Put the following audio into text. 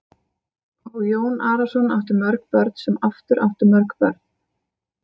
Og Jón Arason átti mörg börn sem aftur áttu mörg börn.